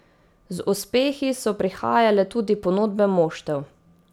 Z uspehi so prihajale tudi ponudbe moštev.